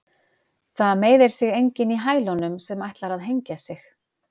Það meiðir sig enginn í hælunum sem ætlar að hengja sig.